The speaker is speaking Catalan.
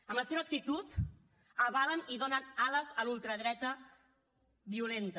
amb la seva actitud avalen i donen ales a la ultradreta violenta